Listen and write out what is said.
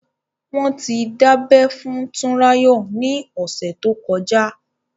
Wọ́n ti dábẹ́ fún Tunrayo ni ọ̀sẹ̀ tó kọjá.